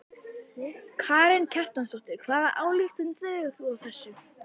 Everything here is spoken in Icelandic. Karen Kjartansdóttir: Hvaða ályktun dregur þú af þessu?